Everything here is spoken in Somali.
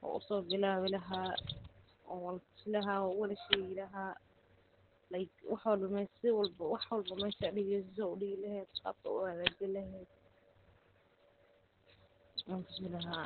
wan usobilawi laha wan uwadashegi laha wax walbo meesha sida udigi leheed sida uhagajini lehed wan tusi laha.